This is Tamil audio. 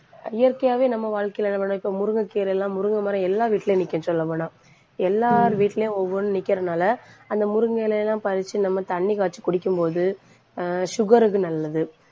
இயற்கையாவே நம்ம வாழ்க்கையில என்ன பண்ணோம் இப்ப முருங்கைக்கீரை எல்லாம், முருங்கை மரம், எல்லா வீட்டுலயும் நிக்கும் சொல்ல போனா எல்லார் வீட்லயும், ஒவ்வொண்ணு நிக்கறதுனால அந்த முருங்கை இலை எல்லாம் பறிச்சு, நம்ம தண்ணி காய்ச்சி குடிக்கும் போது ஆஹ் sugar க்கு நல்லது.